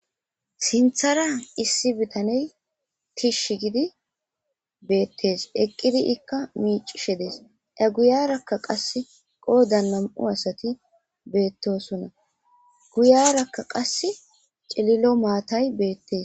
sinthara issi bitaney kishsh gidi beettes eqqidi ikka miicishe dees eguyarakka qas qoo da nam7u asati beettosonna guyarakka qass cililo maatay beettes